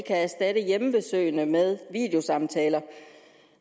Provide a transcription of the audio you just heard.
kan erstatte hjemmebesøgene med videosamtaler